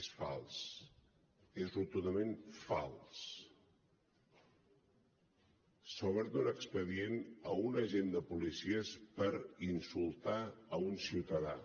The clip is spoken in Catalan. és fals és rotundament fals s’ha obert un expedient a un agent de policia per insultar un ciutadà